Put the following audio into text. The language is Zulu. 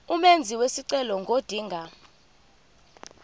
umenzi wesicelo ngodinga